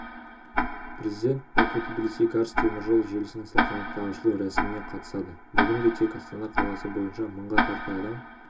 президент баку-тбилиси-карс теміржол желісінің салтанатты ашылу рәсіміне қатысады бүгінде тек астана қаласы бойынша мыңға тарта адам